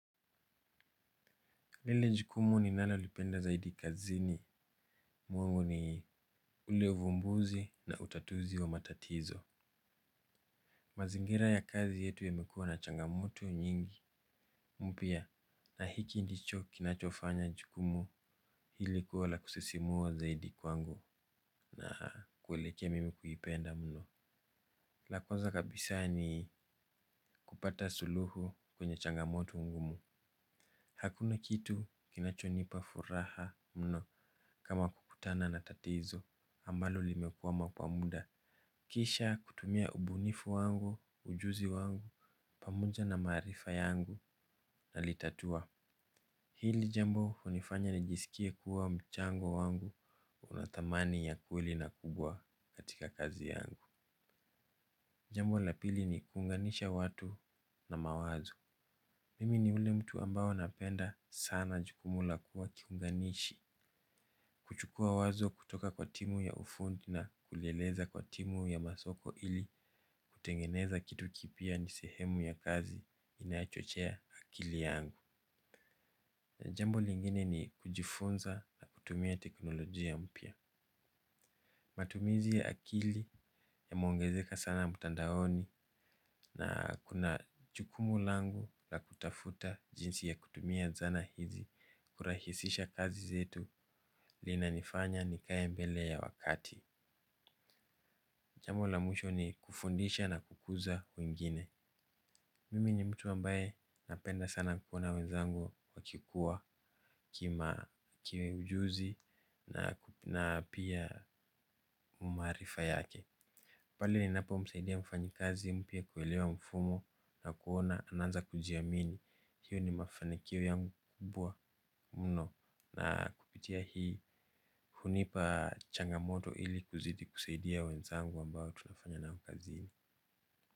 Lele jukumu ni nalo lipenda zaidi kazini mwangu ni ule uvumbuzi na utatuzi wa matatizo. Mazingira ya kazi yetu yemekuwa na changamoto nyingi. Mpia na hiki ndicho kinachofanya jukumu hili kuwa la kusisimua zaidi kwangu na kuelekea mimi kuyipenda mno la kwanza kabisa ni kupata suluhu kwenye changamoto ngumu. Hakuna kitu kinachonipa furaha mno kama kukutana na tatizo ambalo limekuwama kwa muda. Kisha kutumia ubunifu wangu, ujuzi wangu, pamoja na marifa yangu na litatua. Hili jambo unifanya nijisikie kuwa mchango wangu unatamani ya kweli na kubwa katika kazi yangu. Jambo lapili ni kunganisha watu na mawazo. Mimi ni ule mtu ambao napenda sana jukumu la kuwa kiunganishi. Kuchukua wazo kutoka kwa timu ya ufundi na kuleleza kwa timu ya masoko ili kutengeneza kitu kipia ni sehemu ya kazi inachochea akili yangu jambo lingine ni kujifunza kutumia teknolojia mpya. Matumizi ya akili yameongezeka sana mutandahoni na kuna chukumu langu la kutafuta jinsi ya kutumia zana hizi kurahisisha kazi zetu lina nifanya nikaye mbele ya wakati. Jambo la mwisho ni kufundisha na kukuza wengine. Mimi ni mtu ambae napenda sana kukuona wenzangu wakikuwa kima kiwe ujuzi na pia umarifa yake. Pali ninapo msaidia mfanyi kazi mpia kuelewa mfumo na kuona ananza kujia mini. Hiyo ni mafanikiwo yangu kubwa mno na kupitia hii hunipa changamoto ili kuzidi kuseidia wenzangu ambao tunafanya nao kazini.